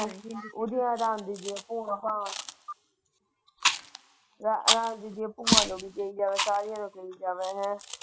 ਉਹਦੀ ਹਾਰਮ ਦੀ ਹੈ ਭੂਆ ਭਾ ਭੂਆ ਨੋ ਵੀ ਕਹਿ ਜਾਵੇ ਸਾਰੀਆਂ ਨੂੰ ਵੀ ਕਹਿ ਜਾਵੇ।